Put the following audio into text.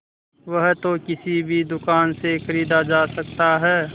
वह तो किसी भी दुकान से खरीदा जा सकता है